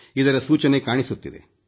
ಇದರ ಸೂಚನೆ ಕಾಣಿಸುತ್ತಿದೆ